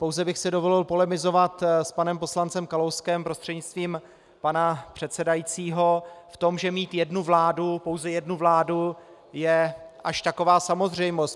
Pouze bych si dovolil polemizovat s panem poslancem Kalouskem prostřednictvím pana předsedajícího v tom, že mít jednu vládu, pouze jednu vládu, je až taková samozřejmost.